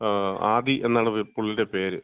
ആദി എന്നാണ് പുള്ളിടെ പേര്.